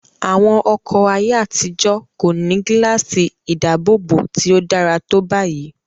Àwọn ọkọ̀ ayé àtijó kò ní gíláàsì ìdáàbòbọ̀ tí ó dára tó báyìí.